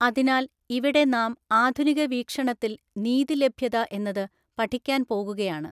അതിനാൽ ഇവിടെ നാം ആധുനിക വീക്ഷണത്തിൽ നീതിലഭ്യതഎന്നത് പഠിക്കാൻ പോകുകയാണ്.